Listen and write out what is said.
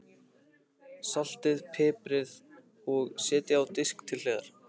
Saltið og piprið og setjið á disk til hliðar.